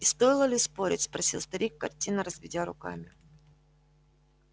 и стоило ли спорить спросил старик картинно разведя руками